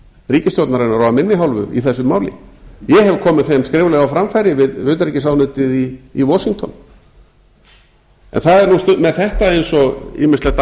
ríkisstjórnarinnar og af minni hálfu í þessu máli ég hef komið þeim skriflega á framfæri við utanríkisráðuneytið í washington en það er nú með þetta eins og ýmislegt